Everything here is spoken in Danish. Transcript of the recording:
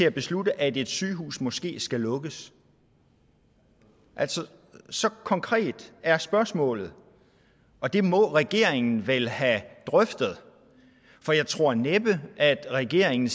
at beslutte at et sygehus måske skal lukkes altså så konkret er spørgsmålet og det må regeringen vel have drøftet for jeg tror næppe at regeringen